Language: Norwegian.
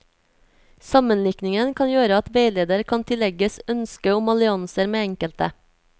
Sammenlikningen kan gjøre at veileder kan tillegges ønske om allianser med enkelte.